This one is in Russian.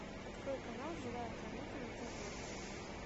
открой канал живая планета на тв